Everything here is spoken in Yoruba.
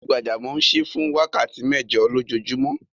Onígbàjàmọ̀ n ṣíí fún wákàtí mẹ́jọ̀ lọjoojumọ̀.